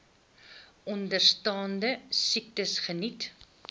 onderstaande siektes geniet